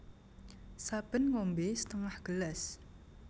Saben ngombé setengah gelas